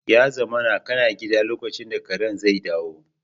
Ya zamana kana gida lokacin da karen zai dawo